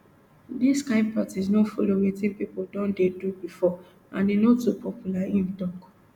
dis kain practice no follow wetin pipo don dey do bifor and e no too popular im tok